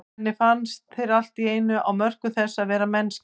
Henni fannst þeir allt í einu á mörkum þess að vera mennskir.